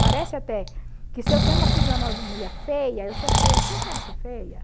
Parece até que se eu tenho uma fisionomia feia, eu sou feia porque eu quero ser feia.